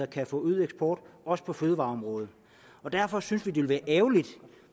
kan få øget eksport også på fødevareområdet derfor synes vi ville være ærgerligt